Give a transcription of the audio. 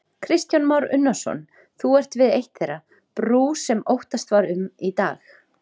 Kristján Már Unnarsson, þú ert við eitt þeirra, brú sem óttast var um í dag?